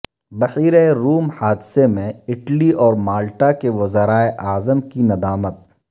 بیحرہ روم حادثے میں اٹلی اور مالٹا کے وزرائے اعظم کی ندامت